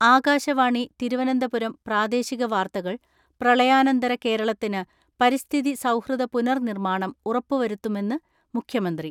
ആകാശവാണി തിരുവനന്തപുരം പ്രാദേശിക വാർത്തകൾ പ്രളയാനന്തര കേരളത്തിന് പരിസ്ഥിതി സൗഹൃദ പുനർ നിർമ്മാണം ഉറപ്പു വരുത്തുമെന്ന് മുഖ്യമന്ത്രി.